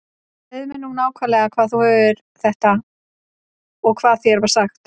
Segðu mér nú nákvæmlega hvaðan þú hefur þetta og hvað þér var sagt.